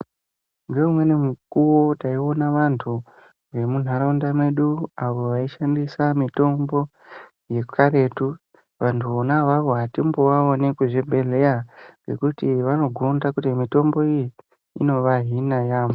Ngeumweni mukuwo taiona vantu vemunharaunda medu avo vaishandisa mitombo yekaretu vantu vona avavo atimbovaoni kuzvibhedhlera ngekuti vanogonda kuti mitombo iyi inovahina yaamho.